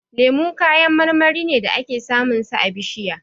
Lemu kayan marmari ne da ake samun sa a bishiya.